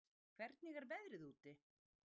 Lífdís, hvernig er veðrið úti?